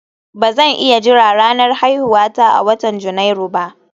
Ba zan iya jira ranar haihuwata a watan Janairu ba